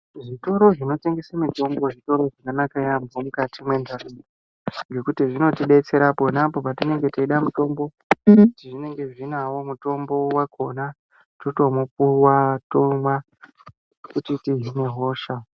Zvitoro zvinotengesa mitombo zvitoro zvakanaka yampho mukati mwentaraunda. Ngekuti zvinotidetsera ponapo patinenge teida mutombo zvinenge zvinawo mutombo wakona totoupuwa totomwa kuti tidzinge hosha.